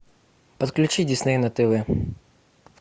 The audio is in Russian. подключи дисней на тв